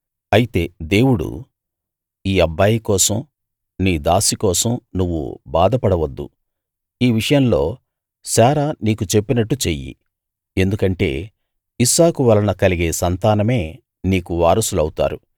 అయితే దేవుడు ఈ అబ్బాయి కోసం నీ దాసీ కోసం నువ్వు బాధ పడవద్దు ఈ విషయంలో శారా నీకు చెప్పినట్టు చెయ్యి ఎందుకంటే ఇస్సాకు వలన కలిగే సంతానమే నీకు వారసులౌతారు